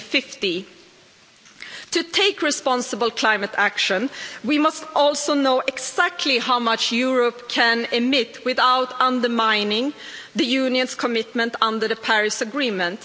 by 2050. To take responsible climate action, we also need to know exactly how much Europe can emit without undermining the Union's commitment under the Paris Agreement.